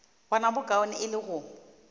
bona bokaone e le go